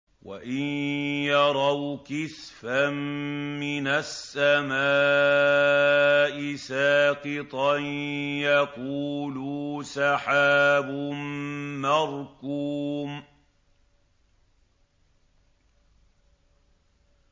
وَإِن يَرَوْا كِسْفًا مِّنَ السَّمَاءِ سَاقِطًا يَقُولُوا سَحَابٌ مَّرْكُومٌ